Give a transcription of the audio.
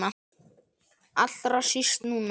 Allra síst núna.